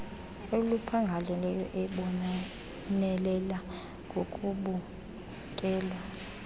oluphangaleleyo ebonelela ngokubukelwa